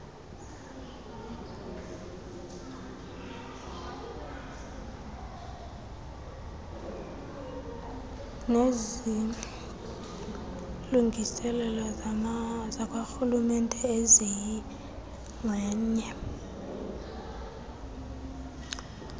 nezilungiselelo zakwarhulumente eziyingxenye